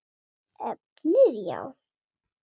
Efnið já?